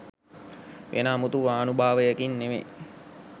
වෙන අමුතු ආනුභාවයකින් නෙවෙයි.